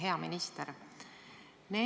Hea minister!